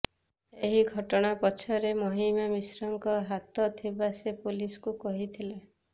ଏହି ଘଟଣା ପଛରେ ମହିମା ମିଶ୍ରଙ୍କ ହାତ ଥିବା ସେ ପୋଲିସକୁ କହିଥିଲା